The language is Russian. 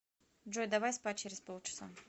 джой давай спать через полчаса